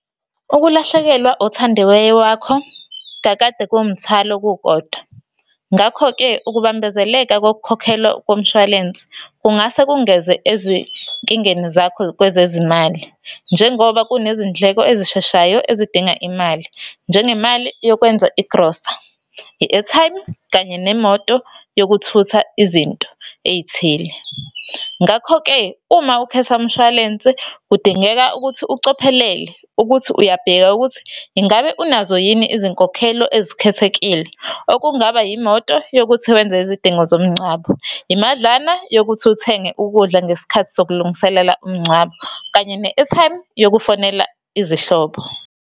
Ukulahlekelwa othandiwe wakho kakade kuwumthwalo kukodwa. Ngakho-ke ukubambezeleka kokukhokhelwa komshwalense kungase kungeze ezinkingeni zakho kwezezimali. Njengoba kunezindleko ezisheshayo ezidinga imali, njengemali yokwenza igrosa, i-airtime, kanye nemoto yokuthutha izinto ey'thile. Ngakho-ke, uma ukhetha umshwalense, kudingeka ukuthi ucophelele ukuthi uyabheka ukuthi, ingabe unazo yini izinkokhelo ezikhethekile. Okungaba imoto yokuthi wenze izidingo zomngcwabo, imadlana yokuthi uthenge ukudla ngesikhathi sokulungiselela umngcwabo, kanye ne-airtime yokufonela izihlobo.